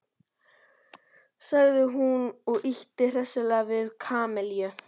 sagði hún og ýtti hressilega við Kamillu.